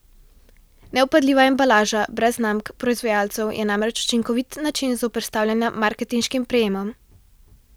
Nevpadljiva embalaža brez znamk proizvajalcev je namreč učinkovit način zoperstavljanja marketinškim prijemom.